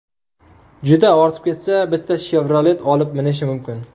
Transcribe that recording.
Juda ortib ketsa, bitta Chevrolet olib minishi mumkin.